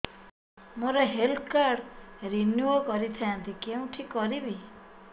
ମୋର health card renew କରିଥାନ୍ତି କୋଉଠି କରିବି